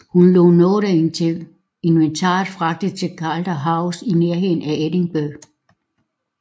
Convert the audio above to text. Hun lod noget af inventaret fragte til Calder House i nærheden af Edinburgh